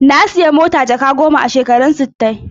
Na sayi mota jaka goma a shekarun sittai.